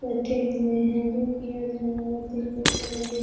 बैठे हुए हैं जो कि यह जगह बहुत ही खूबसूरत दिख --